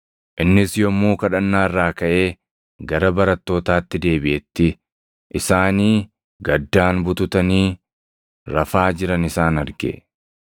Innis yommuu kadhannaa irraa kaʼee gara barattootaatti deebiʼetti, isaanii gaddaan bututanii rafaa jiran isaan arge.